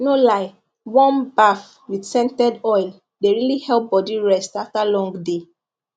no lie warm baff with scented oil dey really help body rest after long day